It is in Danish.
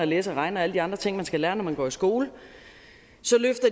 læse og regne og alle de andre ting man skal lære når man går i skole